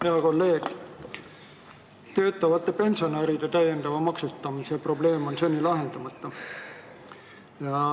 Hea kolleeg, töötavate pensionäride täiendava maksustamise probleem on seni lahendamata.